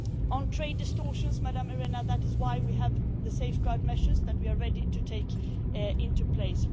On trade distortions, Ms Arena, that is why we have the safeguard measures that we are ready to put into place.